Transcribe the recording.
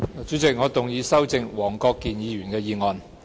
主席，我動議修正黃國健議員的議案。